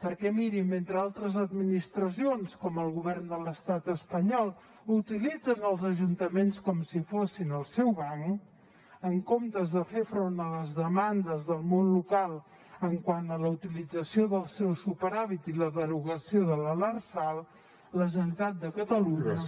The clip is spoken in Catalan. perquè miri mentre altres administracions com el govern de l’estat espanyol utilitzen els ajuntaments com si fossin el seu banc en comptes de fer front a les demandes del món local quant a la utilització del seu superàvit i la derogació de la lrsal a la generalitat de catalunya